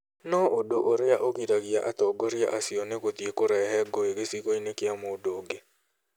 No ũndũ ũrĩa ũgiragia atongoria acio nĩ gũthiĩ kũrehe ngũĩ gĩcigo-inĩ kĩa mũndũ ũngĩ.